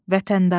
Vətəndaş.